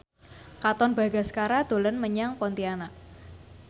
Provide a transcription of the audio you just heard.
Katon Bagaskara dolan menyang Pontianak